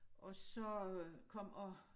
Og så øh kom og